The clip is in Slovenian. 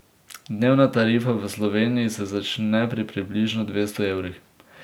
Dnevna tarifa v Sloveniji se začne pri približno dvesto evrih.